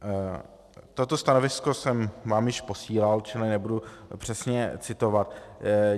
Toto stanovisko jsem vám již posílal, čili nebudu přesně citovat.